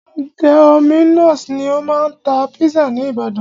Dominos ni o máa ń tá pizza ní ìbàdàn.